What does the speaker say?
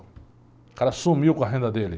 O cara sumiu com a renda dele.